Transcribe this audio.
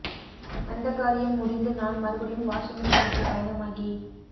வந்தகாரியம் முடிந்துநான் மறுபடியும் வாஷிங்டனுக்குப் பயணமாகி